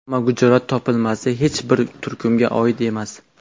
Ammo Gujorat topilmasi hech bir turkumga oid emas.